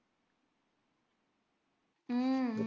உம்